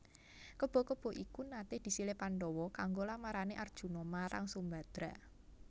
Kebo kebo iku naté disilih Pandhawa kanggo lamarané Arjuna marang Sumbadra